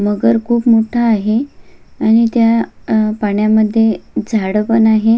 मगर खुप मोठा आहे आणि त्या पाण्यामध्ये झाड पण आहे.